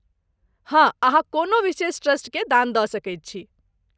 हँ, अहाँ कोनो विशेष ट्रस्टकेँ दान दऽ सकैत छी।